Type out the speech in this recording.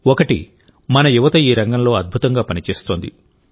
ఒకటి మన యువత ఈ రంగంలో అద్భుతంగా పనిచేస్తోంది